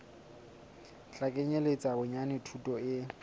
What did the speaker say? tla kenyeletsa bonyane thuto e